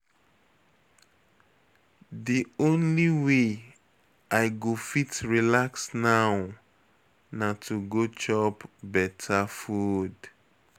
The only way I go fit relax now na to go chop beta food.